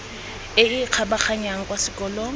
e e kgabaganyang kwa selong